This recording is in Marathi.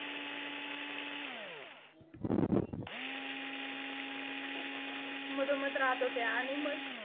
मधोमध राहत होत्या. आणि मग